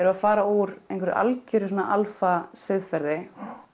að fara úr einhverju alfa alfa siðferði